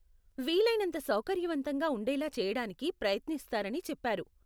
వీలైనంత సౌకర్యవంతంగా ఉండేలా చెయ్యడానికి ప్రయత్నిస్తారని చెప్పారు.